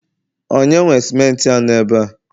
onye nwe simenti a no ebe a?